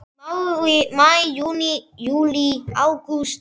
Maí Júní Júlí Ágúst